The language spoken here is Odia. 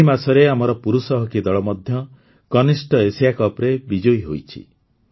ଏହି ମାସରେ ଆମର ପୁରୁଷ ହକି ଦଳ ମଧ୍ୟ କନିଷ୍ଠ ଏସିଆ କପ୍ରେ ବିଜୟୀ ହୋଇଛି